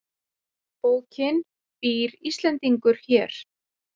Bókin Býr Íslendingur hér?